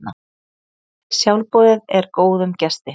Sjálfboðið er góðum gesti.